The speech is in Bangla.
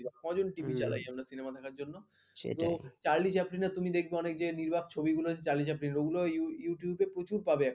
চার্লি চালিপনের তুমি দেখবে যে অনেক নির্বাক ছবিগুলো চার্লি চ্যাপলিন এর ওগুলো youtube বে প্রচুর পাবে